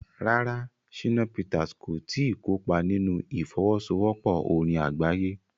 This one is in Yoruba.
Rárá, Shina Peters kò tí ì kópa nínú ìfọwọ́sowọ́pọ̀ orin àgbáyé.